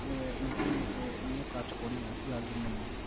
insurance নিয়ে কাজ করি না যার জন্যই mam ।